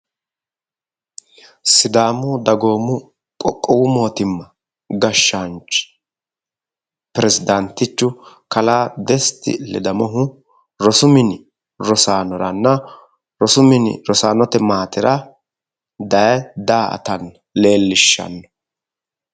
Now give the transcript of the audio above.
Sidaamu dagoomu qoqowu mootimma gashaanchi peresidaantichu kallaa desti ledamohu rosu minni rosanoranna rosu minni rosaanote maatera daye da'atanna leelishano.